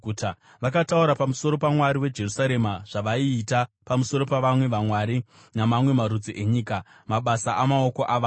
Vakataura pamusoro paMwari weJerusarema zvavaiita pamusoro pavamwe vamwari namamwe marudzi enyika, mabasa amaoko avanhu.